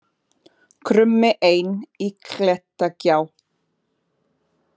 Krummi einn í klettagjá